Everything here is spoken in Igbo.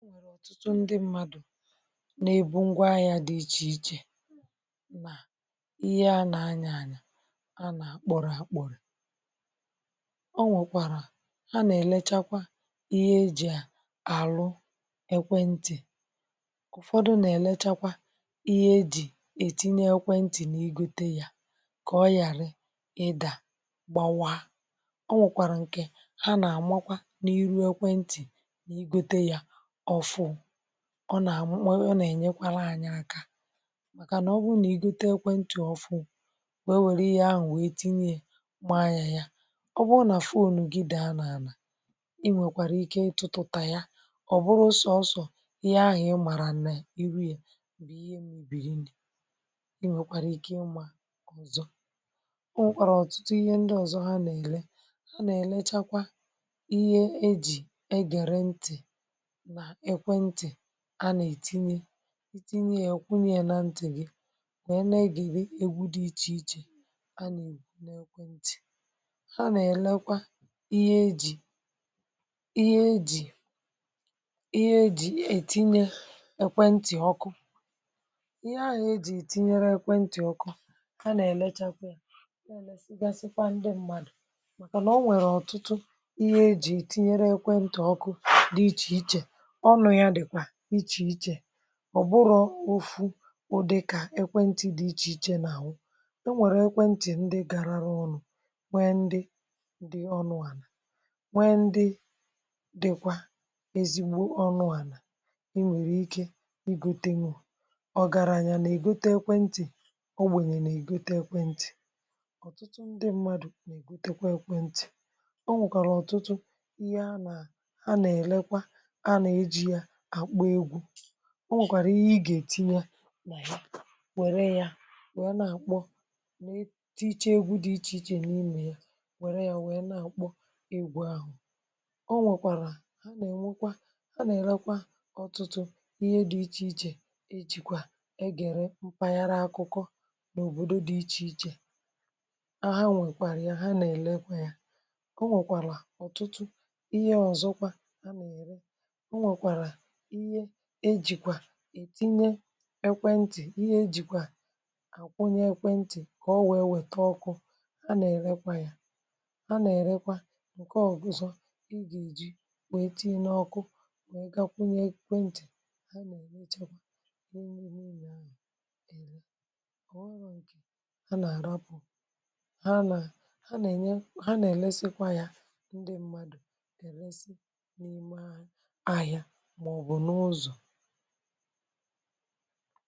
E nwere ọtụtụ ndị mmadụ nà ebu ngwa ahịȧ dị ichè ichè nà ihe anà anya anyà a nà àkpọ̀rọ̀ àkpọ̀rọ̀ o nwèkwàrà ha nà èlechakwa ihe ejì àlụ ekwentị̀ ụ̀fọdụ nà èlechakwa ihe ejì ètinye ekwentị̀ nà ịgote yȧ kà ọ yàra ịdà gbàwa o nwèkwàrà ǹkè ha nà àmakwa nà iru ekwentị̀ nà ịgote yȧ ọfụ ọ nà-àmụ na ọ nà-ènyekwara anya aka màkànà ọ bụrụ nà ị gote ekwe ntụ ọ fụụ wee nwere ihe ahụ̀ wee tinye maa anya ya ọ bụrụ nà fon gị daa nà anà ị nwèkwàrà ike ịtụtụtà ya ọ̀ bụrụ sọsọ̀ ihe ahụ̀ ị màrà nẹ̀ iru ya bụ̀ ihe mebirinu i nwèkwàrà ike ịmȧ ọ̀zọ o nwèkwàrà ọ̀tụtụ ihe ndị ọ̀zọ ha nà-èle ha nà-èlechakwa ihe ejì e gere ntị̀ na ekwentị anà ètinye ịtinye ya ịkwụnye ya na ntì gị wèe na-egere egwu dị ichè ichè? nà ekwentị ha nà èlekwa ihe ejì ihe ejì ihe ejì ètinye ekweǹti ọkụ ihe ahụ̀ e jì etinyere ekwentị ọkụ ha nà èlechakwa ya na-elèsịgasịkwa ndị mmadù màkànà o nwèrè ọ̀tụtụ ihe ejì etinyere ekwentì ọkụ dị ichè ichè ọnụ ya dịkwa iche iche ọ̀ bụrọ̇ ofu ụdị kà ekwentị̀ dị ichè ichè nà àwụ e nwèrè ekwentị̀ ndị garaȧrọ̇ ọnụ̇ nwee ndị dị ọnụ̇ ànà nwee ndị dịkwa ezigbo ọnụ̇ ànà ị nwèrè ike ịgotenwu ọgaraȧnyȧ nà-ègote ekwentị̀ ogbenye na-egote ekwentị ọ̀tụtụ ndị mmadụ̀ nà-ègote kwa ekwentị̀ ihe ana anà-elekwa na-eji ya akpọ egwu ọ nwèkwàrà ihe ị gà-ètinye nà ya wère ya wère na-àkpọ meetiichee egwu dị iche iche na imè ya wère ya wère na-àkpọ egwu ahụ̀ o nwèkwàrà ha nà-ènwekwa ha nà-èrekwa ọ̀tụtụ ihe dị iche ichè ejìkwà egère mpaghara akụkọ n’òbòdo dị iche ichè a ha nwèkwàrà ya ha nà-èlekwa ya o nwèkwàlà ọ̀tụtụ ihe ọ̀zọkwa a nà-ère enwekwara ihe eji etinye ekwentị Ihe ejikwa etinye ekwentị ihe ejikwa akwụnye ekwentị ka o wee weta ọkụ ha na-erekwa ya ha na-erekwa nke ọ guzò ị ga-eji wee tii n’ọkụ wee gakwụnye ekwentị ha na-elechekwa ihe niile ahụ ele ọ bụghị nke ha na-arapụ ha enye ha na-elesịkwa ya ndị mmadụ eresị n’ime ahịa ma ọ bụ n’ụzọ